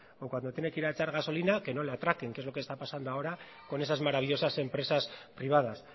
o cuando tiene que echar gasolina que no le atraquen que es lo que está pasando ahora con esas maravillosas empresas privadas